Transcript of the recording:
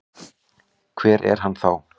Hver er hann þá?